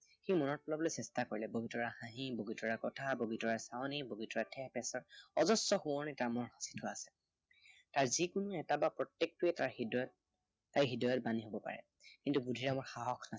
সি মনত পেলাবলৈ চেষ্টা কৰিলে। বগীতৰাৰ হাঁহি, বগীতৰাৰ কথা, বগীতৰাৰ চাৱনি, বগীতৰাৰ ঠেহ পেছ, অজস্ৰ সোৱণি তাৰ মনত সাঁচি থোৱা আছে। যি কোনো এটা বা প্ৰত্য়েকটোৱেই তাৰ হৃদয়ত, তাৰ হৃদয়ত বান্ধিৱ পাৰে। কিন্তু বুদ্ধিৰামৰ সাহস নাই।